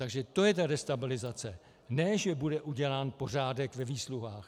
Takže to je ta destabilizace, ne že bude udělán pořádek ve výsluhách.